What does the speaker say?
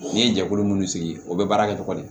N'i ye jɛkulu minnu sigi o bɛ baara kɛ cogo di